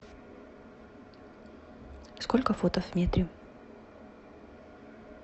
сколько футов в метре